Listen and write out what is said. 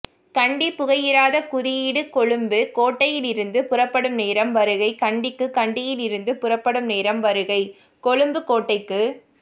கண்டி புகையிரத குறியீடு கொழும்பு கோட்டையிலிருந்து புறப்படும் நேரம் வருகை கண்டிக்கு கண்டியிலிருந்து புறப்படும் நேரம் வருகை கொழும்பு கோட்டைக்கு